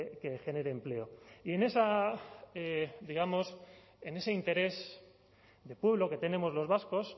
que genere empleo y en ese interés de pueblo que tenemos los vascos